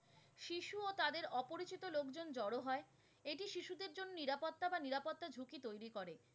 জড়ো হয়, এটি শিশুদের জন্যে নিরাপত্তা বা নিরাপত্তা ঝুঁকি তৈরি করে।